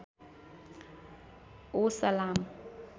ओ सलाम